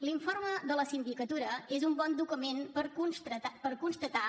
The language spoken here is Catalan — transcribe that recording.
l’informe de la sindicatura és un bon document per constatar